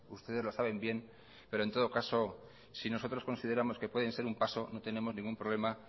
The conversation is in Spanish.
ustedes lo saben bien pero en todo caso si nosotros consideramos que pueden ser un paso no tenemos ningún problema